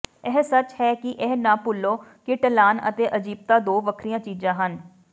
ਇਹ ਸੱਚ ਹੈ ਕਿ ਇਹ ਨਾ ਭੁੱਲੋ ਕਿ ਢਲਾਣ ਅਤੇ ਅਜੀਬਤਾ ਦੋ ਵੱਖਰੀਆਂ ਚੀਜ਼ਾਂ ਹਨ